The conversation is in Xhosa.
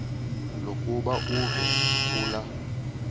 lokuba uve kulaa